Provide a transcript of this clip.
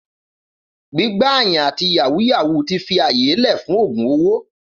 Gbígbà yàn àtí yàwú yàwú ti fi àyé lẹ fún ògún òwó.